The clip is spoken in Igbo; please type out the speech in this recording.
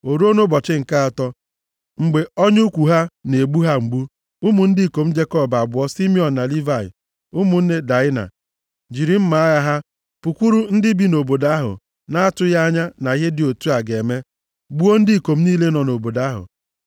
O ruo nʼụbọchị nke atọ, mgbe ọnya ugwu ha na-egbu ha mgbu, ụmụ ndị ikom Jekọb abụọ, Simiọn na Livayị, ụmụnne Daịna, jiri mma agha ha pụkwuru ndị bi nʼobodo ahụ na-atụghị anya na ihe dị otu a ga-eme, gbuo ndị ikom niile nọ nʼobodo ahụ.